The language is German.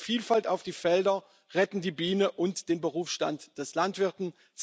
Diese bringen Vielfalt auf die Felder, retten die Biene und den Berufsstand des Landwirtes.